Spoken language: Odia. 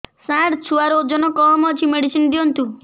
ସାର ଛୁଆର ଓଜନ କମ ଅଛି ମେଡିସିନ ଦିଅନ୍ତୁ